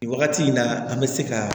Wagati in na an bɛ se ka